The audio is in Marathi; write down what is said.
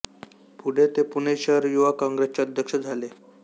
पुढे ते पुणे शहर युवा काँग्रेसचे अध्यक्ष झाले